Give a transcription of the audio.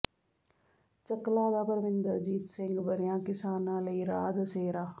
ਚੱਕਲਾਂ ਦਾ ਪਰਮਿੰਦਰਜੀਤ ਸਿੰਘ ਬਣਿਆ ਕਿਸਾਨਾਂ ਲਈ ਰਾਹ ਦਸੇਰਾ